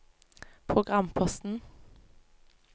programposten